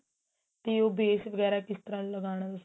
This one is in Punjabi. ਤੇ ਉਹ base ਵਗੈਰਾ ਕਿਸ ਤਰਾਂ ਲਗਾਣਾ ਤੁਸੀਂ